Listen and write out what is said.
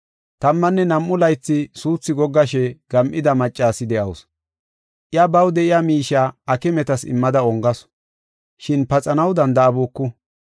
Tammanne nam7u laythi suuthi goggishe gam7ida maccasi de7awusu. Iya baw de7iya miishiya aakimetas immada ongasu. Shin paxanaw danda7abuku.